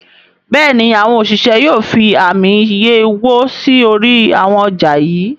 Béèni àwọn òṣìṣẹ́ yóò fí Ààmì iye owó sí orí àwọn ọjà yí.